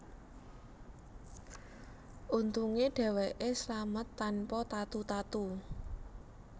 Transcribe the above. Untunge dheweke slamet tanpa tatu tatu